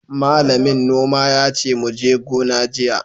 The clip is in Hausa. Malamin noma yace muje gona jiya!